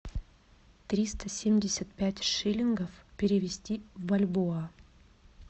триста семьдесят пять шиллингов перевести в бальбоа